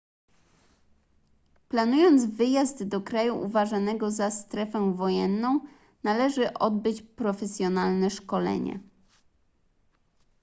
planując wyjazd do kraju uważanego za strefę wojenną należy odbyć profesjonalne szkolenie